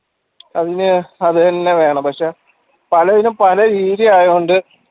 അതിന് അത് തന്നെ വേണം പക്ഷേ പലതിനും പല രീതിയായതുകൊണ്ട്